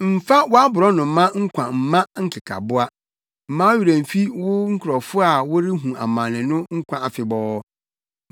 Mmfa wʼaborɔnoma nkwa mma nkekaboa; mma wo werɛ mfi wo nkurɔfo a wɔrehu amane no nkwa afebɔɔ.